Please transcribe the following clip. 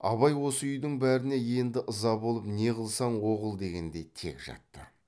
абай осы үйдің бәріне енді ыза болып не қылсаң о қыл дегендей тек жатты